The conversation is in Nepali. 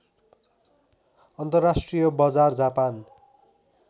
अन्तर्राष्ट्रिय बजार जापान